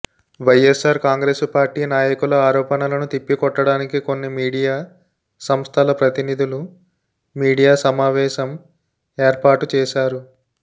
YSR Congress party నాయకుల ఆరోపణలను తిప్పకొట్టడానికి కొన్ని మీడియా సంస్థల ప్రతినిధులు మీడియా సమావేశం ఏర్పాటు చేశారు